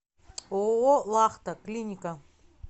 ооо лахта клиника